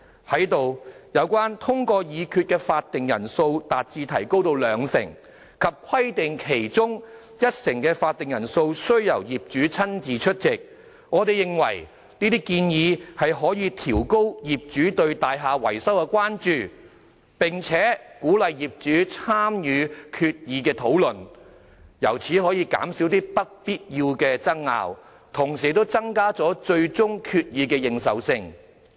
就當中一項建議，即"將通過決議的法定人數提高至兩成，及規定其中一成的法定人數須由業主親自出席"，我們認為可以提高業主對大廈維修的關注，並可鼓勵業主參與決議討論，從而減少一些不必要的爭拗，並增加最終決議的認受性。